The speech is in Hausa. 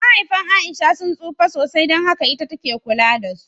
Mahaifan A'isha sun tsufa sosai, son haka ita take kula da su.